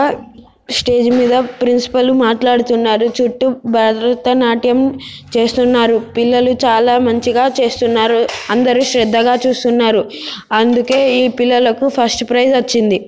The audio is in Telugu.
ఆ స్టేజి మీద ప్రిన్సిపాల్ మాట్లాడుతున్నారు చుట్టూ భారత నాట్యం చేస్తున్నారు పిల్లలు చాలా మంచిగా చేస్తున్నారు అందరు శ్రద్హగా చూస్తున్నారు అందుకే ఈ పిల్లలకు ఫస్ట్ ప్రైజ్ వచ్చింది.